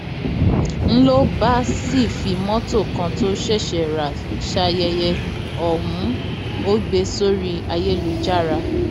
n ló bá sì fi mọtò kan tó ṣẹṣẹ rà sáyẹyẹ ọhún ò gbé e sórí ayélujára